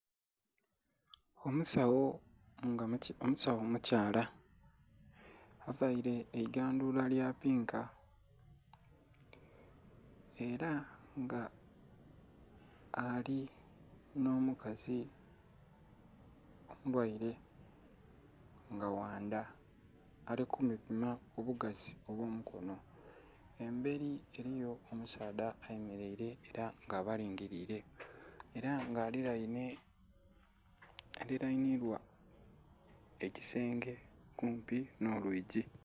Omusawo nga omusawo omukyala avaire eigandhula lyapinka era nga alino mukazi omulwaire nga wandha alikumupi obugazi obwomukono eberi eriyo omusaadha ayemeraire era nga abalinhirire era nga aliraine, aliranibwa ekisenge kumpi nolwigi.